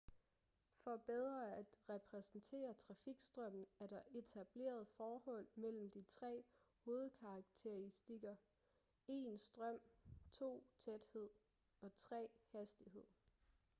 for bedre at repræsentere trafikstrømmen er der etableret forhold mellem de tre hovedkarakteristika: 1 strøm 2 tæthed og 3 hastighed